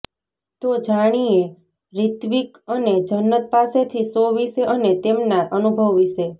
તો જાણીયે રિત્વીક અને જન્નત પાસેથી શો વિશે અને તેમના અનુભવ વિશે